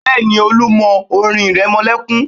Bẹ́ẹ̀ni, Olú mọ orin ìrẹmọlẹ́kún